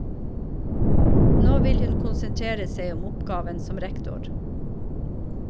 Nå vil hun konsentrere seg om oppgaven som rektor.